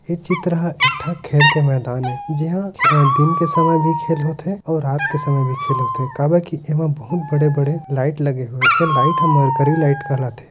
ए चित्र ह एक ठा खेल के मैदान ए जिहा दिन के समय भी खेल होथे और रात के समय भी खेल होथे काबर की एमा बहुत बड़े बड़े लाइट लगी हुहे है ए लाइट हा मरकरी लाइट कहलाथे।